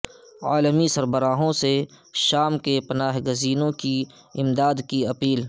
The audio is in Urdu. عالمی سربراہوں سے شام کے پناہ گزینوں کی امداد کی اپیل